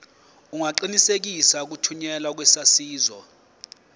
ungaqinisekisa ukuthunyelwa kwesaziso